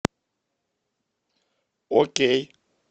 окей